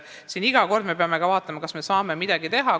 Nii et iga kord me peame ka vaatama, kas me saame midagi teha.